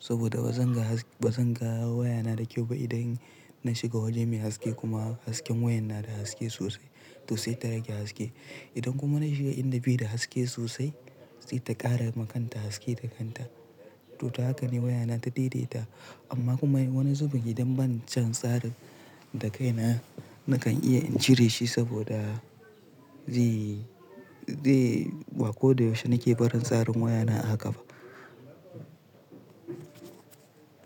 Saboda ba zan ga waya na da kyau ba idan na shiga waje mai haske kuma hasken wayan na da haske sosai to sai ta rage haske. Idan kuma na shiga inda bi da haske sosai sai ta ƙara ma kanta haske da kanta. To haka ne waya na ta daidaita amma kuma wani zuben idan bani can tsarin da kaina nakan iya in jire shi saboda ba ko da yaushe nake barin tsarin waya na haka ba.